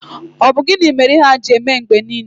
Ọ bụ gịnị mere ihe a jiri eme mgbe niile?